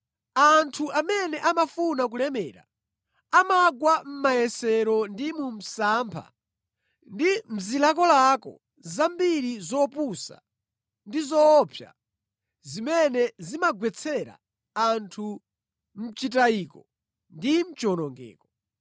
Anthu amene amafuna kulemera amagwa mʼmayesero ndi mu msampha ndi mʼzilakolako zambiri zopusa ndi zoopsa zimene zimagwetsera anthu mʼchitayiko ndi mʼchiwonongeko.